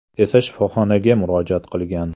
esa shifoxonaga murojaat qilgan.